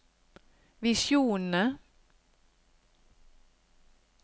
visjonene